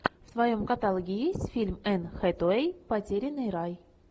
в твоем каталоге есть фильм энн хэтэуэй потерянный рай